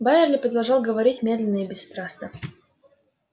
байерли продолжал говорить медленно и бесстрастно